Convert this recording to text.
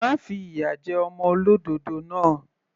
Má fi ìyà jẹ ọmọ olódòdó náà.